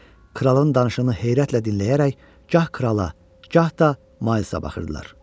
Kralın danışığını heyrətlə dinləyərək, gah krala, gah da Maylsa baxırdılar.